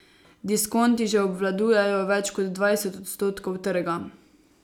Diskonti že obvladujejo več kot dvajset odstotkov trga.